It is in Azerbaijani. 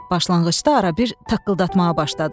Başlanğıcda arabir taqqıldatmağa başladım.